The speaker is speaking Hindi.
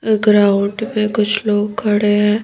ग्राउंड में कुछ लोग खड़े हैं।